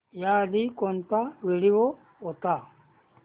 याआधी कोणता व्हिडिओ होता